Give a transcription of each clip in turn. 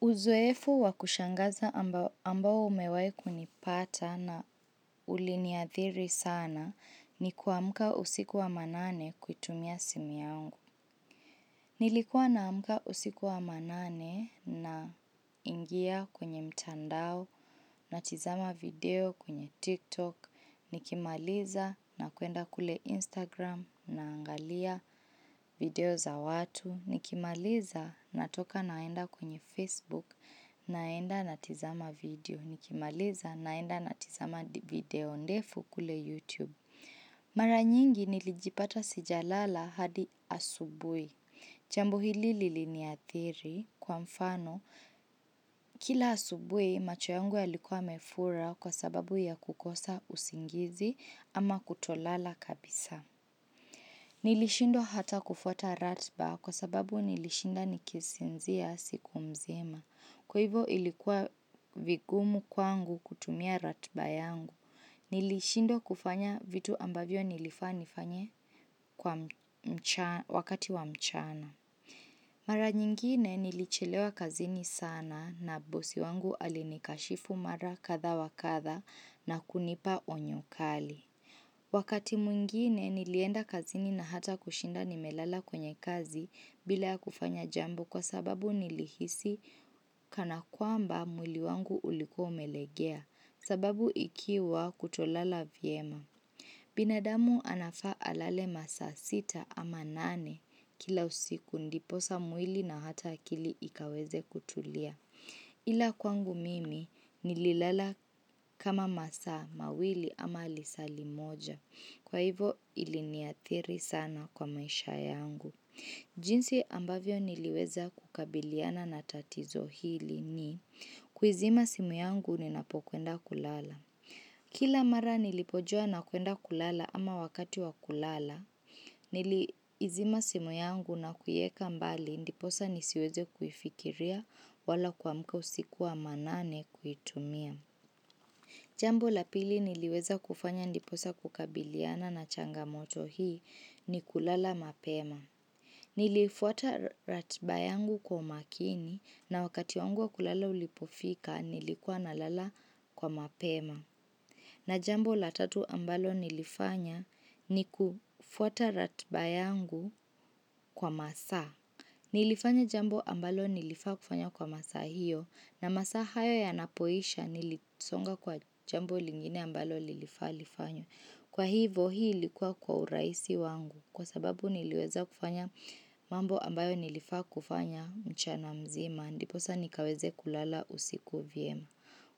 Uzoefu wa kushangaza ambao umewahi kunipata na uliniadhiri sana ni kuamka usiku wa manane kuitumia simu yangu. Nilikuwa naamka usiku wa manane naingia kwenye mtandao natizama video kwenye TikTok. Nikimaliza nakuenda kule Instagram naangalia video za watu. Nikimaliza natoka naenda kwenye Facebook naenda natizama video. Nikimaliza naenda natizama video ndefu kule YouTube. Mara nyingi nilijipata sijalala hadi asubuhi. Jambu hili liliniathiri kwa mfano kila asubuhi macho yangu yalikuwa yamefura kwa sababu ya kukosa usingizi ama kutolala kabisa. Nilishindwa hata kufuata ratiba kwa sababu nilishinda nikisinzia siku mzima. Kwa hivo ilikuwa vigumu kwangu kutumia ratiba yangu. Nilishindwa kufanya vitu ambavyo nilifaa nifanye wakati wa mchana. Mara nyingine nilichelewa kazini sana na bosi wangu alinikashifu mara kadhaa wa kadhaa na kunipa onyo kali. Wakati mwingine nilienda kazini na hata kushinda nimelala kwenye kazi bila ya kufanya jambo kwa sababu nilihisi kana kwamba mwili wangu ulikua umelegea sababu ikiwa kutolala vyema. Binadamu anafaa alale masaa sita ama nane kila usiku ndiposa mwili na hata akili ikaweze kutulia. Ila kwangu mimi nililala kama masaa mawili ama lisaa limoja. Kwa hivo iliniathiri sana kwa maisha yangu. Jinsi ambavyo niliweza kukabiliana na tatizo hili ni kuizima simu yangu ninapokwenda kulala. Kila mara nilipojua nakuenda kulala ama wakati wa kulala, niliizima simu yangu na kuieka mbali ndiposa nisiweze kuifikiria wala kuamka usiku wa manane kuitumia. Jambo la pili niliweza kufanya ndiposa kukabiliana na changamoto hii ni kulala mapema. Nilifuata ratiba yangu kwa umakini na wakati wangu wa kulala ulipofika nilikuwa nalala kwa mapema. Na jambo la tatu ambalo nilifanya ni kufuata ratiba yangu kwa masaa. Nilifanya jambo ambalo nilifaa kufanya kwa masaa hiyo na masaa hayo yanapoisha nilisonga kwa jambo lingine ambalo lilifaa lifanywe. Kwa hivo hii ilikuwa kwa urahisi wangu kwa sababu niliweza kufanya mambo ambayo nilifaa kufanya mchana mzima. Ndiposa nikaweze kulala usiku vyema.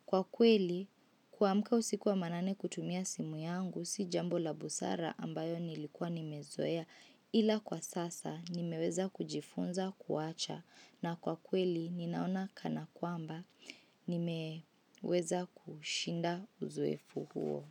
Kwa kweli, kuamka usiku wa manane kutumia simu yangu, si jambo la busara ambayo nilikuwa nimezoea ila kwa sasa nimeweza kujifunza kuacha na kwa kweli ninaona kana kwamba nimeweza kushinda uzoefu huo.